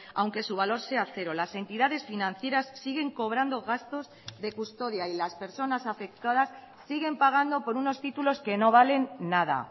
aunque su valor sea cero las entidades financieras siguen cobrando gastos de custodia y las personas afectadas siguen pagando por unos títulos que no valen nada